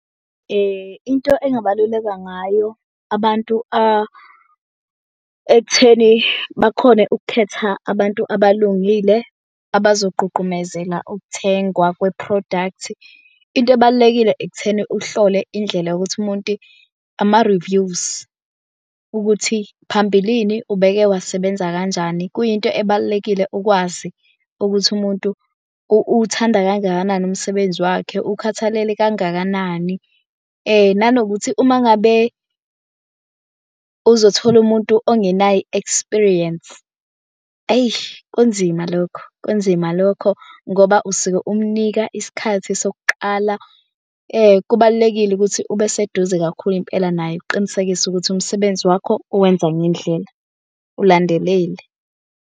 Into engabaluleka ngayo abantu ekutheni bakhone ukukhetha abantu abalungile abazogqugqumezela ukuthengwa kwe-product. Into ebalulekile ekutheni uhlole indlela yokuthi umuntu ama-reviews ukuthi phambilini ubeke wasebenza kanjani. Kuyinto ebalulekile ukwazi ukuthi umuntu uthanda kangakanani umsebenzi wakhe ukhathalele kangakanani. Nanokuthi uma ngabe uzothola umuntu ongenayo i-experience eyi kunzima lokho kunzima lokho ngoba usuke umnika isikhathi sokuqala. Kubalulekile ukuthi ube seduze kakhulu impela naye ukuqinisekisa ukuthi umsebenzi wakho uwenza ngendlela ulandelele.